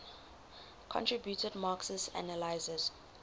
contributed marxist analyses